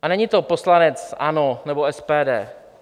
A není to poslanec ANO nebo SPD.